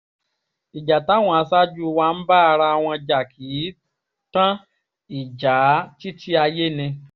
ìjà táwọn aṣáájú wa ń bá ara wọn jà kì í í tán ìjàá títí ayé ni